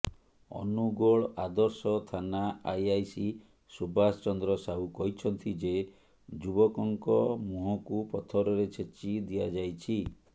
ଅନୁଗୋଳ ଆଦର୍ଶ ଥାନା ଆଇଆଇସି ସୁବାସ ଚନ୍ଦ୍ର ସାହୁ କହିଛନ୍ତି ଯେ ଯୁବକଙ୍କ ମୁହଁକୁ ପଥରରେ ଛେଚି ଦିଆଯାଇଛି